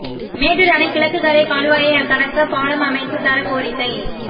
மேட்டூா் அணை கிழக்குக்கரை கால்வாயை கடக்க பாலம் அமைத்துத் தர கோரிக்கை